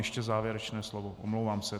Ještě závěrečné slovo, omlouvám se.